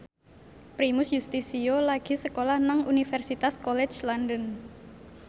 Primus Yustisio lagi sekolah nang Universitas College London